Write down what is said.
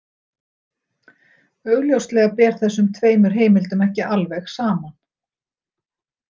Augljóslega ber þessum tveimur heimildum ekki alveg saman.